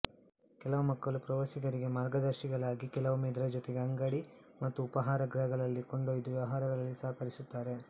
ಕೆಲವು ಮಕ್ಕಳು ಪ್ರವಾಸಿಗರಿಗೆ ಮಾರ್ಗದರ್ಶಿಗಳಾಗಿ ಕೆಲವೊಮ್ಮೆ ಇದರ ಜೊತೆಗೆ ಅಂಗಡಿ ಮತ್ತು ಉಪಹಾರ ಗೃಹಗಳಗಳಿಗೆ ಕೊಂಡೊಯ್ದು ವ್ಯವಹಾರಗಳಲ್ಲಿ ಸಹಕರಿಸುತ್ತಾರೆ